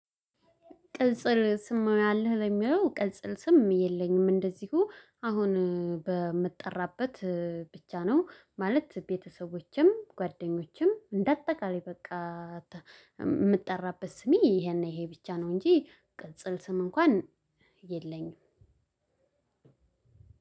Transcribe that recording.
ቅጽል ስም አለህ ለሚለው ቅጽል ስም የለኝም እንደዚሁ አሁን በምጠራበት ብቻ ነው ማለት ቤተሰቦቼም ጓደኞቼም እንደ አጠቃላይ በቃ የምትጠራበት ስሜ ይሄ ብቻ ነው። እንጂ ቅጽል ስም እንኳን የለኝም።